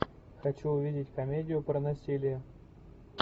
хочу увидеть комедию про насилие